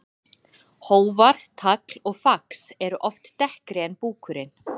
Hófar, tagl og fax eru oft dekkri en búkurinn.